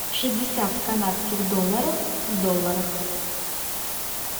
шестьдесят канадских долларов в долларах